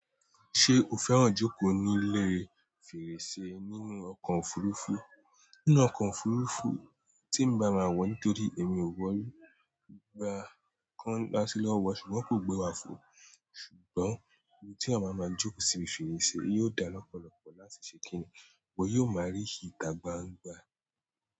Ṣé o fẹ́ràn jókòó nílé fèrèsé nínú ọkọ̀ òfurufú? Nínú ọkọ̀ òfurufú tí n bá máa wọ̀ nítorí èmi ò wọ̀ri gba kan láti lọ́wọ́ ṣùgbọ́n kò gbé wa fò. Ṣùgbọ́n ibi tí a máa máa jókòó sì fèrèsé yóò dá lọ́pọ̀lọ́pọ̀ láti ṣe kínní. Wọ̀ yóò máa rí ìtà gbangba.